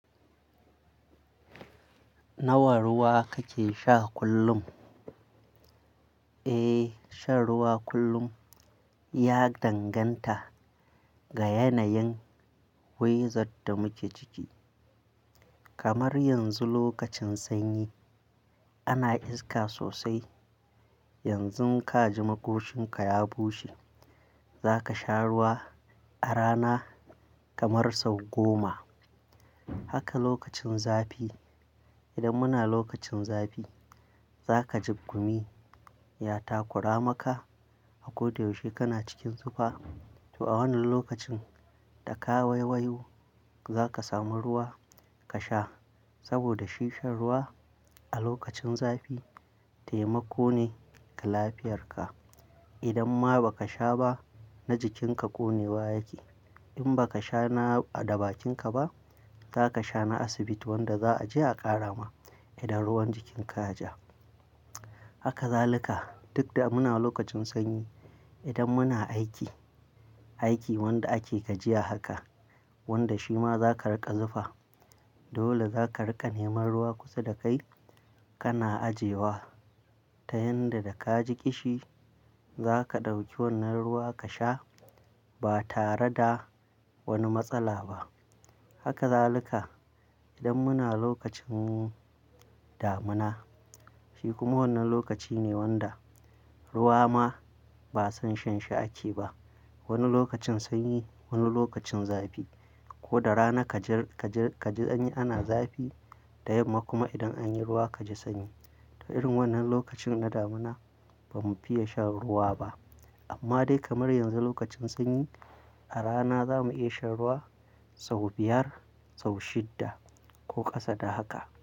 Nawa ruwa kake sha kullum? Eh, shan ruwa kullum ya danganta ga yanayin wizat da muke ciki. Kamar yanzu lokacin sanyi ana iska sosai. Yanzu ka ji makoshinka ya bushe, za ka sha ruwa a rana kamar sau goma. Haka lokacin zafi, idan muna lokacin zafi za ka ji gummi ya takura maka a koda yaushe kana cikin zufa. To a wannan lokacin da ka waiwayo za ka samu ruwa ka sha saboda shi shan ruwa a lokacin zafi taimako ne ga lafiyarka. Idan ma ba ka sha ba na jikinka ƙone wa yake. In ba ka sha na ɗabakinka ba, za ka sha na asibiti wanda za a je a ƙarama idan ruwan jikinka ya ja. Haka za lika duk da muna lokacin sanyi. Idan muna aiki, aiki wanda ake gajiya haka wanda shi ma za ka riƙa zufa. Dole za ka riƙa neman ruwa kusa da kai kana ajewa. Ta yanda da ka ji ƙishi za ka ɗauki wannan ruwa ka sha ba tare da wani matsala ba. Haka za lika idan muna lokacin damina. Shi kuma wannan lokaci ne wanda ruwa ma ba son shan shi ake ba. Wani lokacin sanyi, wani lokacin zafi. Ko da rana ka ji, ka ji, ka ji sanyi ana zafi da yamma kuma idan an yi ruwa ka ji sanyi. To irin wannan lokacin na damuna ba mu fiye shan ruwa ba. Amma dai kamar yanzu lokacin sanyi a rana za mu iya shan ruwa sau biyar, sau shidda ko ƙasa da haka.